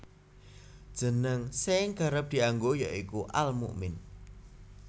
Jeneng sing kerep dianggo ya iku Al Mukmin